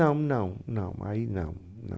Não, não, não, aí não, não.